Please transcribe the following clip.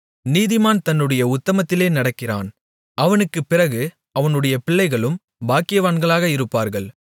நீதிமான் தன்னுடைய உத்தமத்திலே நடக்கிறான் அவனுக்குப்பிறகு அவனுடைய பிள்ளைகளும் பாக்கியவான்களாக இருப்பார்கள்